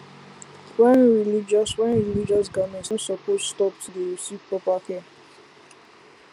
wearing religious wearing religious garments no supose stop to dey receive proper care